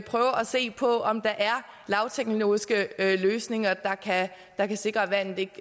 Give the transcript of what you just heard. se på om der er lavteknologiske løsninger der kan sikre at vandet ikke